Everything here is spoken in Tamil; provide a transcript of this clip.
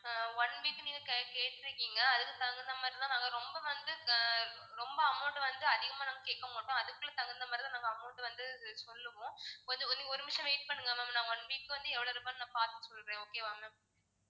ஆஹ் one week க்கு நீங்க கேட்டுருக்கீங்க அதுக்கு தகுந்த மாதிரி தான் நாங்க ரொம்ப வந்து ஆஹ் ரொம்ப amount வந்து அதிகமா நாங்க கேக்க மாட்டோம் அதுக்குள்ள தகுந்த மாதிரி தான் நாங்க amount வந்து சொல்லுவோம் கொஞ்சம் நீங்க ஒரு நிமிஷம் wait பண்ணுங்க ma'am நான் one week க்கு வந்து எவ்வளோ ரூபான்னு நான் பாத்துட்டு சொல்றேன் okay வா ma'am